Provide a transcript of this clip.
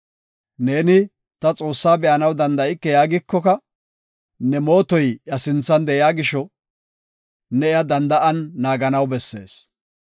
Neeni ta Xoossaa be7anaw danda7ike yaagikoka, ne mootoy iya sinthan de7iya gisho, ne iya danda7an naaganaw bessees.